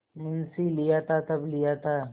मुंशीलिया था तब लिया था